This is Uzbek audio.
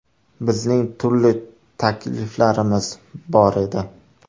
Bizning turli takliflarimiz bor edi.